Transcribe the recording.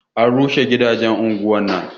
A rushe gidajen unguwar nan